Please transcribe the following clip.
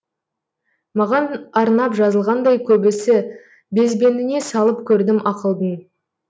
маған арнап жазылғандай көбісі безбеніне салып көрдім ақылдың